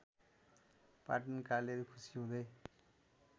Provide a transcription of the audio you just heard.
पाटनकाले खुसी हुँदै